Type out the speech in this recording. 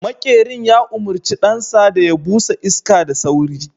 maƙerin ya umarci ɗansa da ya busa iska da sauri